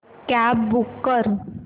cab book कर